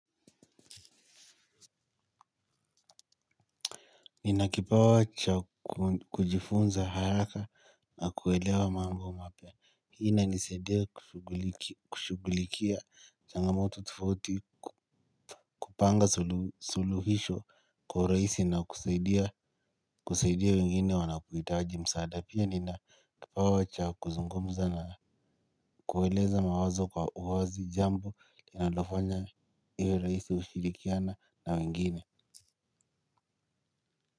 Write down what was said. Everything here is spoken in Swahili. Nina kipawa cha kujifunza haraka na kuelewa mambo mapya. Hii inanisaidia kushughulikia. Changamoto tofauti kupanga suluhisho kwa urahisi na kusaidia kusaidia wengine wanapohitaji msaada. Pia nina kipawa cha kuzungumza na. Kueleza mawazo kwa uwazi jambo. Inafanya iwe rahisi kushirikiana na wengine.